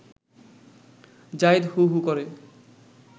জাহিদ হু হু করে